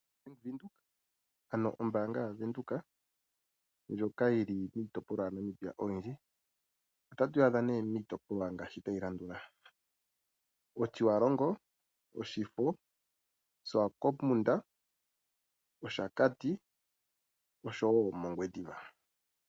Ano ombaanga yavenduka ndjoka yili miitopolwa yaNamibia oyindji. Otatu yi adha nee miitopolwa ngaashi tayi landula : Otjiwarongo, Oshifo, Oshiwakopo, Oshakati nOngwediva.